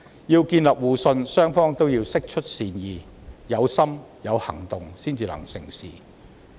要建立互信，雙方都要釋出善意，須有心及有行動才能成事。